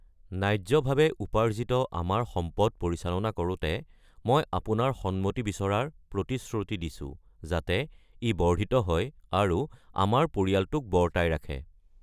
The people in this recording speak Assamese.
ন্যায্যভাৱে উপাৰ্জিত আমাৰ সম্পদ পৰিচালনা কৰোঁতে, মই আপোনাৰ সন্মতি বিচৰাৰ প্ৰতিশ্ৰুতি দিছোঁ, যাতে ই বৰ্ধিত হয় আৰু আমাৰ পৰিয়ালটোক বৰ্তাই ৰাখে।